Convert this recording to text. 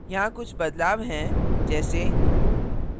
यहाँ कुछ बदलाव हैं जैसे :